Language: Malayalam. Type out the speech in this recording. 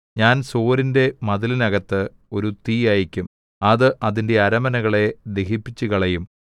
ഞാൻ സോരിന്റെ മതിലിനകത്ത് ഒരു തീ അയയ്ക്കും അത് അതിന്റെ അരമനകളെ ദഹിപ്പിച്ചുകളയും